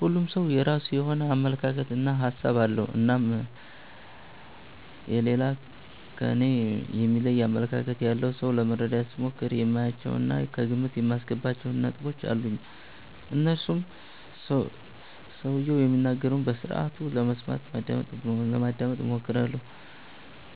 ሁሉም ሠው የራሱ የሆነ አመለካከት እና ሀሣብ አለው። እናም የሌላ ከኔ የሚለይ አመለካከት ያለውን ሠው ለመረዳት ስሞክር የማያቸው እና ከግምት የማስገባቸው ነጥቦች አሉኝ። እነርሱም ሠውየው የሚናገረውን በስርአቱ ለመስማት (ማዳመጥ ) እሞክራለሁ።